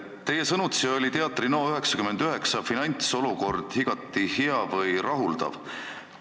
Teie sõnutsi oli Teater NO99 finantsolukord igati hea või rahuldav.